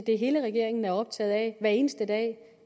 hele regeringen er optaget af hver eneste dag